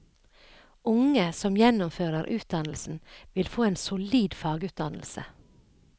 Unge som gjennomfører utdannelsen, vil få en solid fagutdannelse.